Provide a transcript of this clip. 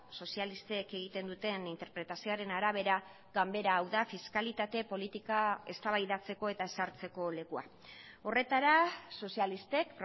sozialistek egiten duten interpretazioaren arabera ganbera hau da fiskalitate politika eztabaidatzeko eta ezartzeko lekua horretara sozialistek